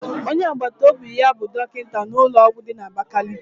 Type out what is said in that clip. Onye agbataobi ya bụ dọkịta n'ụlọọgwụ dị n'abakaliki.